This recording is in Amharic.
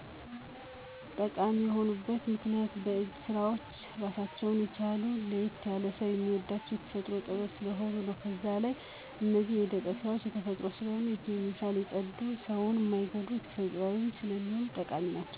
ጠቃሚ የሆኑበት ምክንያት የእጅ ስራዎች ራሳቸውን የቻሉ ለየት ያሉ ሰው ሚወዳቸው የተፈጥሮ ጥበብ ስለሆኑ ነው። በዛ ላይ እነዚህ የእደ ጥብ ስራዎች ተፈጥሮአዊ ስለሆኑ ከኬሚካል የፀዱ ሰውን ማይጎዱ ተፈጥሮአዊ ስለሆኑ ጠቃሚ ናቸው።